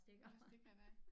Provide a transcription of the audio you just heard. Og stikker dig